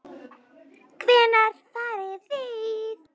Hvenær farið þið?